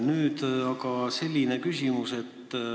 Nüüd aga selline küsimus.